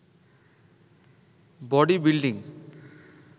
body building